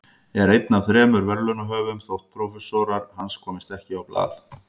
Er einn af þremur verðlaunahöfum þótt prófessorar hans komist ekki á blað.